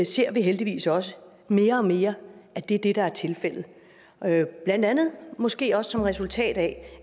ser heldigvis også mere og mere at det er det der er tilfældet blandt andet måske også som resultat af